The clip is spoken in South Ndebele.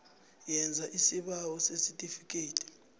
yenza isibawo sesitifikhethi